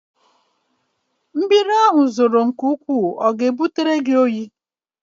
Mmiri ahụ zoro ọ ga-ebutere gị?